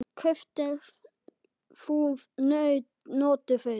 Kaupir þú notuð föt?